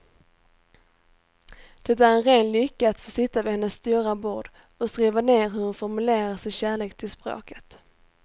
Det är en ren lycka att få sitta vid hennes stora bord och skriva ner hur hon formulerar sin kärlek till språket.